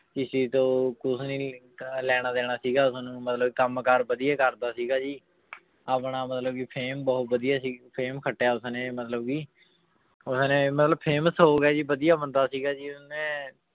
ਕਿਸੇ ਤੋਂ ਕੁਛ ਵੀ ਨੀ ਕਿ ਲੈਣਾ ਦੇਣਾ ਸੀਗਾ ਉਸਨੂੰ ਮਤਲਬ ਕੰਮ ਕਾਰ ਵਧੀਆ ਕਰਦਾ ਸੀਗਾ ਜੀ ਆਪਣਾ ਮਤਲਬ ਕਿ fame ਬਹੁਤ ਵਧੀਆ ਸੀਗੀ fame ਖੱਟਿਆ ਉਸਨੇ ਮਤਲਬ ਕਿ ਸਾਰੇ ਮਤਲਬ famous ਹੋ ਗਿਆ ਜੀ ਵਧੀਆ ਬੰਦਾ ਸੀਗਾ ਜੀ ਉਹਨੇ